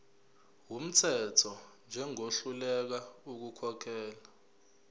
wumthetho njengohluleka ukukhokhela